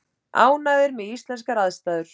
Ánægðir með íslenskar aðstæður